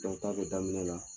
Dɔnki kabi daminɛ la